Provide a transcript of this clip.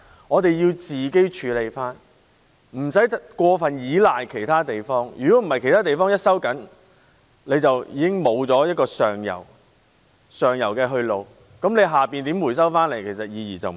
我們必須可自行處理，無須過度依賴其他地方，否則只要其他地方收緊，我們便失去上游去路，不管下游如何回收，意義已經不大。